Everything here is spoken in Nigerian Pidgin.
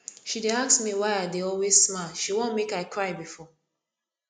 she dey ask me why i dey always smile she wan make i cry before